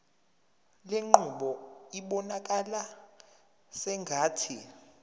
lenqubo ibonakala sengathi